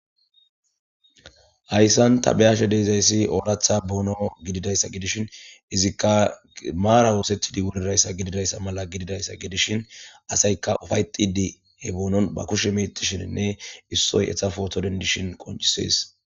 hayssan tabiyashe deezayssi ooratha boono gididayssa gidishin izikka maara woosethidi wurirayssa gididayssa mala gididayssa gidishin asayka ufayxidi he boonon ba kushe metishininne issoy etha footo dendishin qoncisees